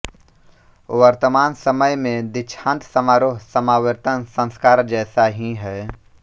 वर्तमान समय में दीक्षान्त समारोह समावर्तन संस्कार जैसा ही है